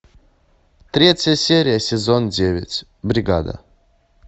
третья серия сезон девять бригада